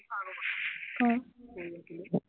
ক